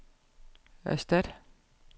erstat